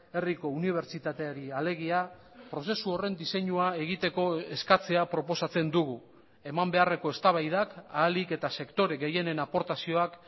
herriko unibertsitateari alegia prozesu horren diseinua egiteko eskatzea proposatzen dugu eman beharreko eztabaidak ahalik eta sektore gehienen aportazioak